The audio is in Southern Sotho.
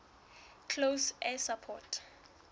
close air support